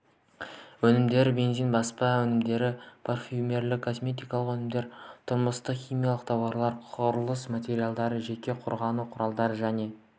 өнімдері бензин баспа өнімдері парфюмерлік-косметикалық өнімдер тұрмыстық химия тауарлары құрылыс материалдары жеке қорғану құралдары және